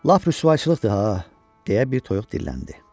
Lap rüsvayçılıqdır ha, deyə bir toyuq dilləndi.